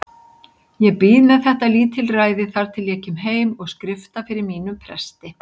Ég bíð með þetta lítilræði þar til ég kem heim og skrifta fyrir mínum presti.